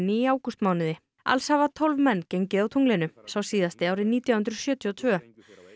í ágústmánuði alls hafa tólf menn gengið á tunglinu sá síðasti árið nítján hundruð sjötíu og tvö